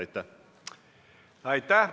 Aitäh!